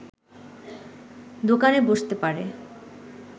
দোকানে বসতে পারে